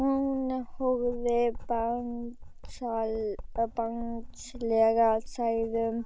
Hún horfir barnslega særðum